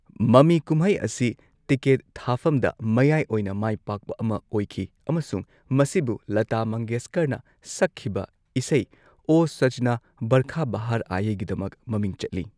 ꯃꯃꯤ ꯀꯨꯝꯍꯩ ꯑꯁꯤ ꯇꯤꯀꯦꯠ ꯊꯥꯐꯝꯗ ꯃꯌꯥꯏ ꯑꯣꯏꯅ ꯃꯥꯏ ꯄꯥꯛꯄ ꯑꯃ ꯑꯣꯏꯈꯤ ꯑꯃꯁꯨꯡ ꯃꯁꯤꯕꯨ ꯂꯇꯥ ꯃꯪꯒꯦꯁꯀꯔꯅ ꯁꯛꯈꯤꯕ ꯏꯁꯩ ꯑꯣ ꯁꯥꯖꯅ ꯕꯔꯈꯥ ꯕꯍꯔ ꯑꯥꯏ ꯒꯤꯗꯃꯛ ꯃꯃꯤꯡ ꯆꯠꯂꯤ꯫